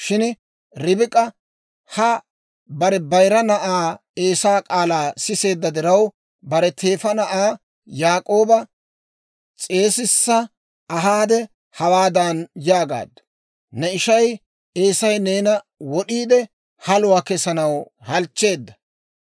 Shin Ribik'a ha bare bayira na'aa Eesaa k'aalaa siseedda diraw, bare teefa na'aa Yaak'ooba s'eesissa ahaade hawaadan yaagaaddu; «Ne ishay Eesay neena wod'iide haluwaa kesanaw halchcheedda.